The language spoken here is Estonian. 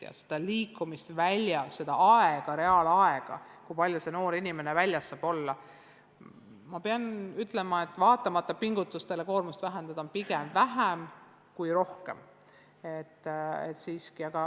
Väljas liikumist, seda aega, kui palju noor inimene väljas saab olla – ma pean ütlema, et vaatamata pingutustele koormust vähendada, on seda aega pigem vähem kui rohkem.